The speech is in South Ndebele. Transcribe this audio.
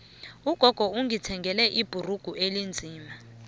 ugogo ungithengele ibhrugu elinzima